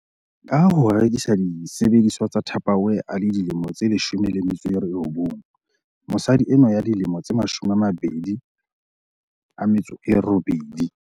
Ka ho rekisa disebediswa tsa Tupperware a le dilemo tse 19, mosadi enwa ya dilemo di 28